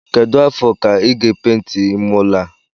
Kedu afọ ka I ga penti ime ụlọ a?